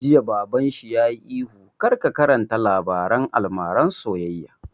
Jiya Baban shi yayi ihu 'kar ka karanta labaren almaran soyayya'